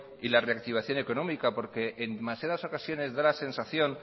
y la reactivación económica porque en demasiadas ocasiones da la sensación